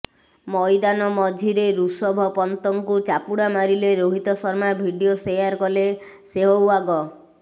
ମଇଦାନ ମଝିରେ ଋଷଭ ପନ୍ତଙ୍କୁ ଚାପୁଡ଼ା ମାରିଲେ ରୋହିତ ଶର୍ମା ଭିଡିଓ ସେୟାର କଲେ ସେହୱାଗ